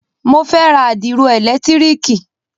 Mo fẹ́ ra àdìro ẹ̀lẹ̀tírìkì.